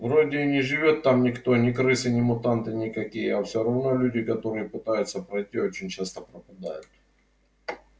вроде и не живёт там никто ни крысы ни мутанты никакие а все равно люди которые пытаются пройти очень часто пропадают